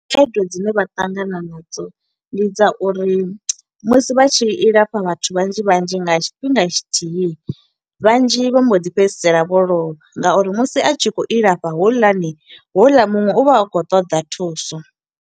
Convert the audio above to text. Khaedu dzine vha ṱangana nadzo, ndi dza uri musi vha tshi ilafha vhathu vhanzhi vhanzhi nga tshifhinga tshithihi, vhanzhi vha mbo ḓi fhedzisela vho lovha. Nga uri musi a tshi khou ilafha houḽani, houḽa muṅwe u vha a khou ṱoḓa thuso.